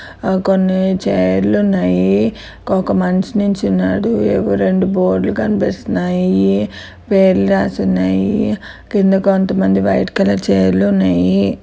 ఓ కొన్ని చైర్ లు ఉన్నాయి. ఒక మనిషి నిలుచున్నాడు ఎవో రెండు బోర్డు లు కనిపిస్తున్నాయి. పేర్లు రాసి ఉన్నాయి. కింద కొంతమంది వైట్ కలర్ చైర్ లు ఉన్నాయి.